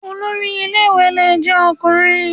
Olórí ilé ìwé lè jẹ́ Ọkùnrin